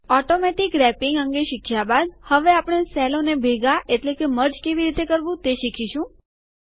automatic wrapping અંગે શીખ્યા બાદ હવે આપણે સેલોને ભેગા એટલે કે મર્જ કેવી રીતે કરવું તે શીખીશું